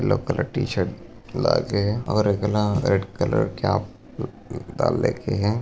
Yellow colour T shirt लागे है। और एकला रेड कलर कैप डाल रखी है।